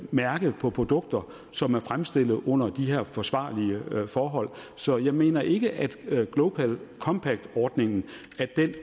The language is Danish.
mærke på produkter som er fremstillet under de her forsvarlige forhold så jeg mener ikke at global compact ordningen